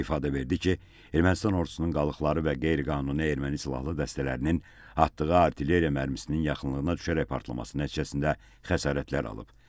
İfadə verdi ki, Ermənistan ordusunun qalıqları və qeyri-qanuni erməni silahlı dəstələrinin atdığı artilleriya mərmisinin yaxınlığına düşərək partlaması nəticəsində xəsarətlər alıb.